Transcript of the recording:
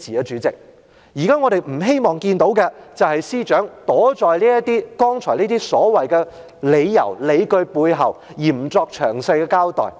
主席，現在我們不希望看到的，就是司長躲在剛才這些所謂的"理由、理據"背後，而不作詳細交代。